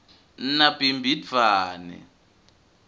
nabhimbidvwane